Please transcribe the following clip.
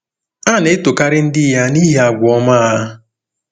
A na-etokarị ndị ya nihi àgwà ọma ọma ha.